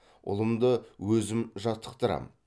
ұлымды өзім жаттықтырамын